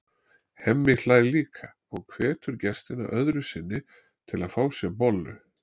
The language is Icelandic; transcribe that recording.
Hemmi hlær líka og hvetur gestina öðru sinni til að fá sér bollu.